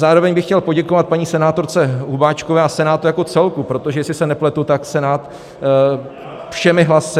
Zároveň bych chtěl poděkovat paní senátorce Hubáčkové a Senátu jako celku, protože jestli se nepletu, tak Senát všemi hlasy...